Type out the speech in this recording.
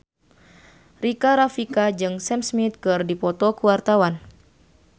Rika Rafika jeung Sam Smith keur dipoto ku wartawan